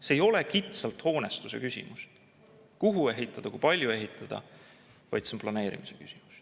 See ei ole kitsalt hoonestuse küsimus, kuhu ehitada ja kui palju ehitada, vaid see on planeerimise küsimus.